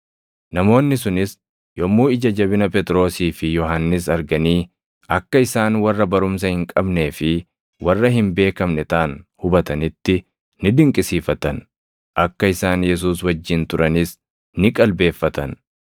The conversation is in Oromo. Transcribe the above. Namoonni sunis yommuu ija jabina Phexrosii fi Yohannis arganii akka isaan warra barumsa hin qabnee fi warra hin beekamne taʼan hubatanitti ni dinqisiifatan; akka isaan Yesuus wajjin turanis ni qalbeeffatan.